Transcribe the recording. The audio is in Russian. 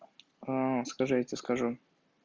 скажи я тебе скажу